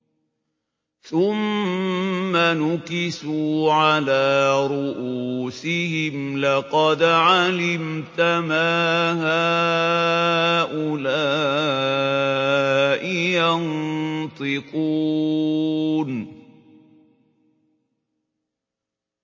ثُمَّ نُكِسُوا عَلَىٰ رُءُوسِهِمْ لَقَدْ عَلِمْتَ مَا هَٰؤُلَاءِ يَنطِقُونَ